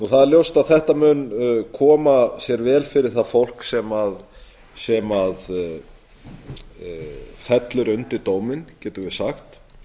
það er ljóst að þetta mun koma sér vel fyrir það fólk sem fellur undir dóminn getum við sagt